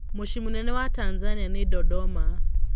Mũciĩ mũnene wa Tanzania nĩ Dodoma.